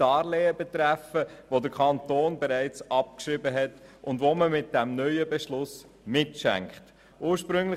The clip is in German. Diese betreffen ein altes, vom Kanton bereits abgeschriebenes Darlehen, welches mit diesem neuen Beschluss mitgeschenkt wird.